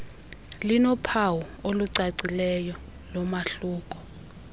linophawu olucacileyo lomahluko